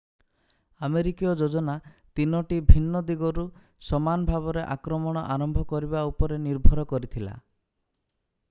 ଆମେରିକୀୟ ଯୋଜନା 3 ଟି ଭିନ୍ନ ଦିଗରୁ ସମାନ ଭାବରେ ଆକ୍ରମଣ ଆରମ୍ଭ କରିବା ଉପରେ ନିର୍ଭର କରିଥିଲା